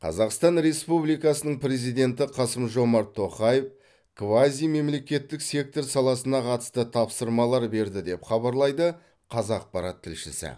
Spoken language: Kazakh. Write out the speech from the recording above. қазақстан республикасының президенті қасым жомарт тоқаев квазимемлекеттік сектор саласына қатысты тапсырмалар берді деп хабарлайды қазақпарат тілшісі